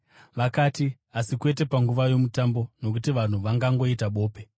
Vakati, “Asi kwete panguva yoMutambo, nokuti vanhu vangangoita bope.”